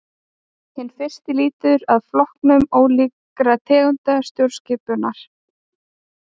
Hinn fyrsti lýtur að flokkun ólíkra tegunda stjórnskipunar.